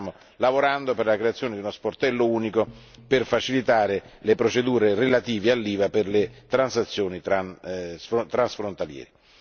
Stiamo inoltre lavorando per la creazione di uno sportello unico per facilitare le procedure relative all'IVA per le transazioni transfrontaliere.